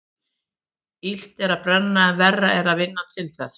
Illt er að brenna en verra er að vinna til þess.